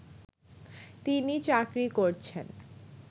তিনি চাকরি করছেন